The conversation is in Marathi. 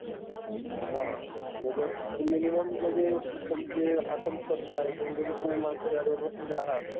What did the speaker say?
हां आणि जर minimum जरी तुमची आसन क्षमता आहे तेवढे जर तुम्ही माणसं बसलेले आहात